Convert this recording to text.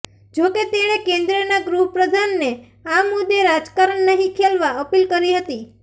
જો કે તેણે કેન્દ્રના ગૃહપ્રધાનને આ મુદ્દે રાજકારણ નહીં ખેલવા અપીલ કરી હતી